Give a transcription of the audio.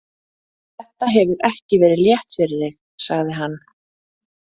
Þetta hefur ekki verið létt fyrir þig, sagði hann.